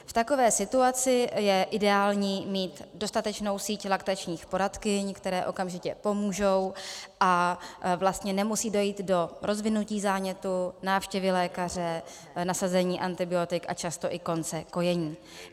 V takové situaci je ideální mít dostatečnou síť laktačních poradkyň, které okamžitě pomůžou, a vlastně nemusí dojít do rozvinutí zánětu, návštěvy lékaře, nasazení antibiotik a často i konce kojení.